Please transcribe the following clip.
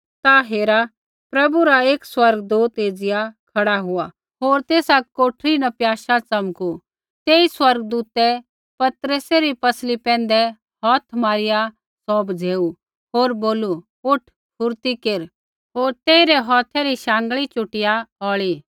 ता हेरा प्रभु रा एक स्वर्गदूत एज़िया खड़ा हुआ होर तेसा कोठरी न प्याशा च़मकू तेई स्वर्गदूतै पतरसै री पसली पैंधै हौथ मारिआ सौ बझ़ेऊ होर बोलू उठ फुरती केर होर तेइरै हौथै री शाँगल चुटिआ शौढ़ी